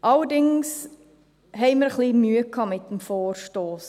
Allerdings hatten wir etwas Mühe mit dem Vorstoss.